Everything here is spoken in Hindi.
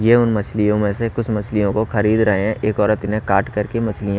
ये उन मछलियों में से कुछ मछलियों को खरीद रहे हैं एक औरत इन्हें काट कर के मछलियाँ--